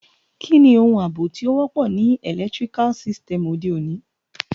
Kíni oun àbò to wọ́pọ̀ ni electrical sytem ọ̀de ọ̀ní?